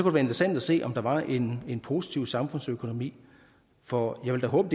interessant at se om der var en en positiv samfundsøkonomi for jeg vil da håbe